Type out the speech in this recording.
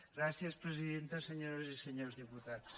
gràcies presidenta senyores i senyors diputats